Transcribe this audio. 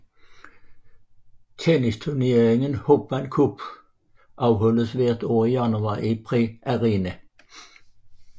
Tennisturneringen Hopman Cup afholdes hvert år i januar i Perth Arena